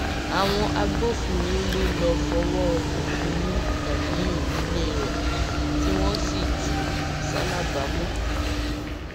àwọn agbófinró ló lọọ fọwọ òfin mú ganiyun nílé rẹ tí wọn sì jù ú ṣalábàámọ